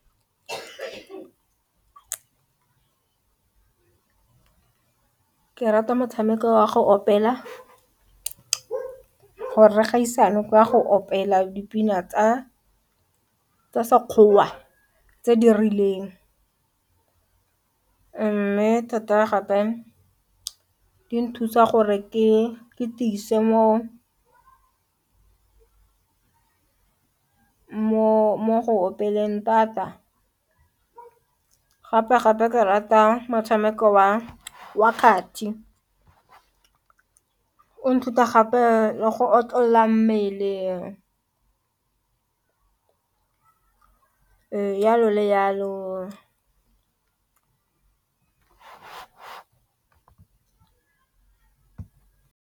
Ke rata motshameko wa go opela gore kgaisane ka go opela dipina tsa sekgowa tse di rileng mme thata gape di nthusa gore ke tiise mo go omeleleng thata, gape-gape ke rata motshameko wa kgati o nthuta gape go otlolola mmele jalo le jalo.